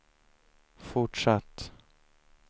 fortsatt